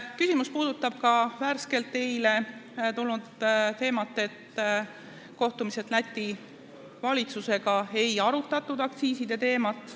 Arupärimine puudutab ka eile avalikuks tulnud teemat, et kohtumisel Läti valitsusega ei arutatud aktsiiside teemat.